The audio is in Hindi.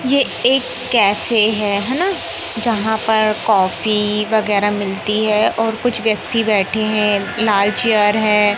ये एक कैफ़े है हैना जहां पर कॉफ़ी वगैरा मिलती है और कुछ व्यक्ति बैठे हैं लाल चेयर है।